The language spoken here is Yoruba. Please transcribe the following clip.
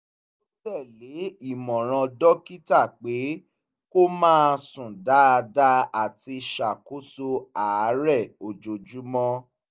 ó tẹ̀lé ìmọ̀ràn dókítà pé kó máa sùn dáadáa àti ṣàkóso àárẹ ojoojúmọ́